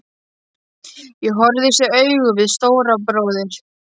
Ég horfðist í augu við Stóra bróður.